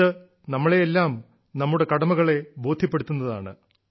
ഇത് നമ്മളെയെല്ലാം നമ്മുടെ കടമകളെ ബോദ്ധ്യപ്പെടുത്തുന്നതാണ്